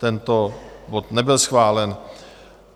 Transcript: Tento bod nebyl schválen.